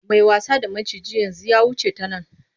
Mai wasa da maciji yanzu ya wuce ta nan.